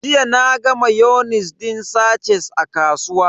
Jiya naga mayonis din sache a kasuwa.